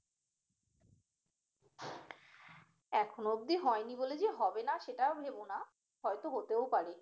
এখনো অবদি হয়নি বলে যে হবে না সেটা ভেবো না হয়তো হতেও পারে